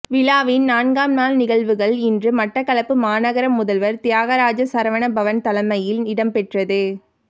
விழாவின் நான்காம் நாள் நிகழ்வுகள் இன்று மட்டக்களப்பு மாநகர முதல்வர் தியாகராஜா சரவணபவன் தலைமையில் இடம்பெற்றது